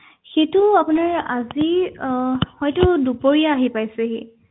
সেইটো আপোনাৰ আজি আহ হয়তো দুপৰীয়া আহি পাইছেহি